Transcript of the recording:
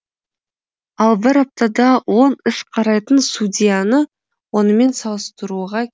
ал бір аптада он іс қарайтын судьяны онымен салыстыруға